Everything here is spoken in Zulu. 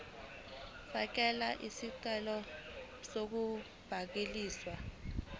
fakela isicelo sokubhaliswa